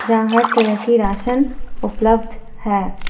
जहां हर तरह की राशन उपलब्ध है।